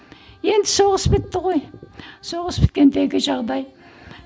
енді соғыс бітті ғой соғыс біткендегі жағдай